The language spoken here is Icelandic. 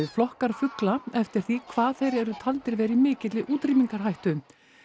flokkar fugla eftir því hvað þeir eru taldir vera í mikilli útrýmingarhættu